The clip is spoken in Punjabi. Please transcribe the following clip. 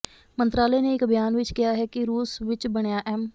ਮੰਤਰਾਲੇ ਨੇ ਇਕ ਬਿਆਨ ਵਿਚ ਕਿਹਾ ਕਿ ਰੂਸ ਵਿਚ ਬਣਿਆ ਐੱਮ